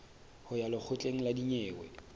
ho ya lekgotleng la dinyewe